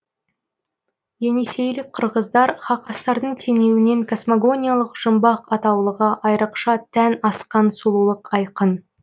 енисейлік қырғыздар хақастардың теңеуінен космогониялық жұмбақ атаулыға айрықша тән асқан сұлулық айқын